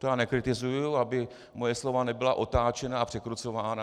To já nekritizuji, aby moje slova nebyla otáčena a překrucována.